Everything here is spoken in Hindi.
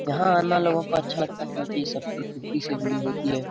यहाँ आना लोगो को अच्छा लगता है क्यूंकि ए सब प्रकृति से जोड़ी होती है ।